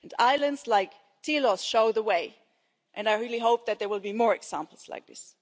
be. Islands like Tilos show the way and I really hope that there will be more examples like